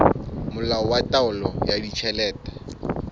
molao wa taolo ya ditjhelete